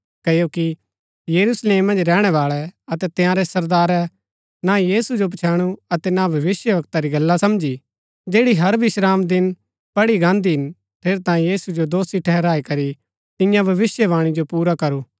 क्ओकि यरूशलेम मन्ज रैहणैवाळै अतै तंयारै सरदारै ना यीशु जो पछैणु अतै न भविष्‍यवक्ता री गल्ला समझी जैड़ी हर विश्रामदिन पढ़ी गान्दी हिन ठेरैतांये यीशु जो दोषी ठहराई करी तियां भविष्‍यवाणी जो पुरा करू